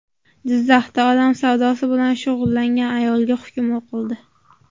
Jizzaxda odam savdosi bilan shug‘ullangan ayolga hukm o‘qildi.